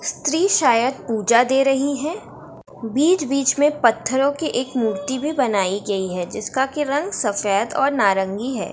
स्त्री शायद पूजा दे रही है बीच-बीच में पत्थरों की एक मूर्ति भी बनाई गई है जिसका कि रंग सफेद और नारंगी है।